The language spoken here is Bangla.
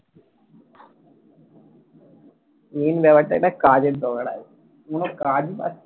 main ব্যাপারটা হচ্ছে একটা কাজের দরকার আছে কোনও কাজই পাচ্ছিনা